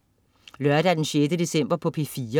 Lørdag den 6. december - P4: